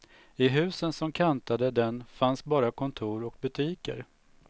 I husen som kantade den fanns bara kontor och butiker.